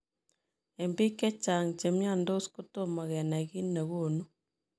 Eng piik chechang chemiandos kotomo kenai kiit negonuu.